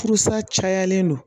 Furusa cayalen don